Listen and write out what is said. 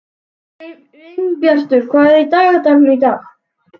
Sveinbjartur, hvað er í dagatalinu í dag?